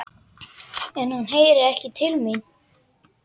En hann heyrir ekki til mín.